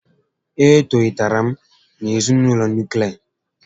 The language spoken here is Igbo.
E tolitere m na ezinaụlọ nuklia